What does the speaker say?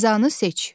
Cəzanı seç.